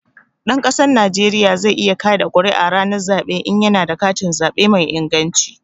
Ɗan ƙasar Najeriya zai iya ƙaɗa ƙuri'a ranar zaɓe in ya na da katin zaɓe mai inganci